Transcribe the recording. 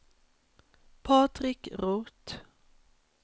Patrik Roth